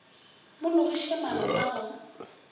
mo logiše maano a go